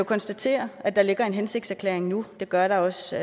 konstatere at der ligger en hensigtserklæring nu det gør der også